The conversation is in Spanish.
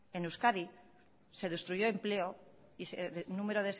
en euskadi se destruyó empleo y el número